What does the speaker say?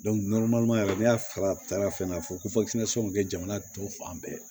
n'a fara taara fɛn a fɔ ko kɛ jamana tɔ fan bɛɛ